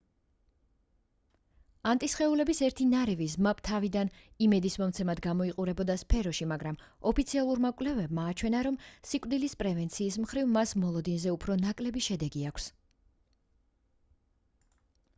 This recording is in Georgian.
ანტისხეულების ერთი ნარევი zmapp თავიდან იმედისმომცემად გამოიყურებოდა სფეროში მაგრამ ოფიციალურმა კვლევებმა აჩვენა რომ სიკვდილის პრევენციის მხრივ მას მოლოდინზე უფრო ნაკლები შედეგი აქვს